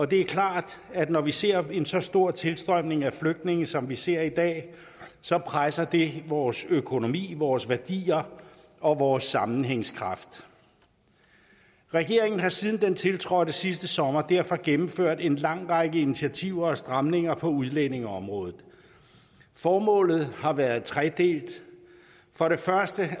det er klart at når vi ser en så stor tilstrømning af flygtninge som vi ser i dag så presser det vores økonomi vores værdier og vores sammenhængskraft regeringen har siden den tiltrådte sidste sommer derfor gennemført en lang række initiativer og stramninger på udlændingeområdet formålet har været tredelt for det første